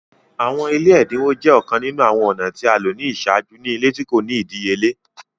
Awọn ile ẹdinwo jẹ ọkan ninu awọn ọna ti a lo ni iṣaaju ni ile ti ko ni idiyele.